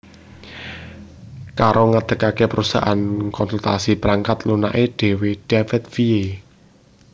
Karp ngadegake perusahaan konsultasi perangkat lunake dhewe Davidville